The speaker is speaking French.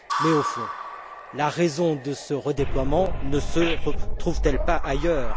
Mais au fond, la raison de ce redéploiement ne se trouve t elle pas ailleurs?